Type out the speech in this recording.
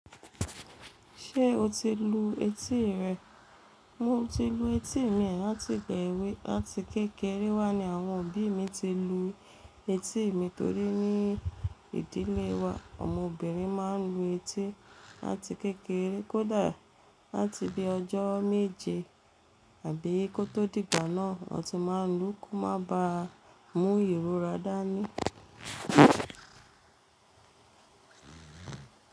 Ṣé o ti lu etí rẹ? Mo ti lu etí mi láti ìgbà èwe láti kékeré wá ni àwọn òbí mi ti lu etí mi torí ní ìdílé wa, ọmọbìnrin máa ń lu etí láti kékeré kódà láti bí ọjọ́ méje àbí kó tó dì igbà náà, wọn ti máa ń lu kó má ba mú ìrora dá ní.